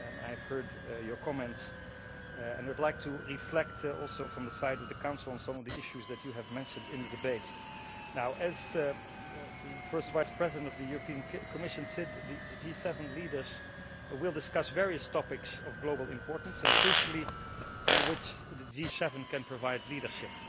I have heard your comments and would like to reflect also from the side of the Council on some of the issues that you have mentioned in the debate. Now, as the First Vice-President of the Commission said, the G7 leaders will discuss various topics of global importance and, crucially, on which the G7 can provide leadership.